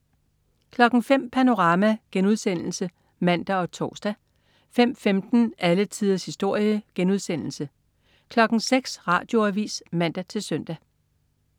05.00 Panorama* (man og tors) 05.15 Alle tiders historie* 06.00 Radioavis (man-søn)